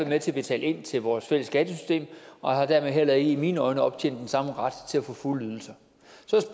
med til at betale ind til vores fælles skattesystem og har dermed heller ikke i mine øjne optjent den samme ret til at få fulde ydelser så